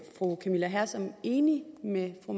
fru camilla hersom enig med fru